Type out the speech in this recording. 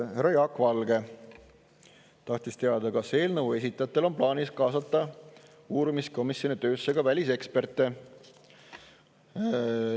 Härra Jaak Valge tahtis teada, kas eelnõu esitajatel on plaanis kaasata uurimiskomisjoni töösse ka väliseksperte.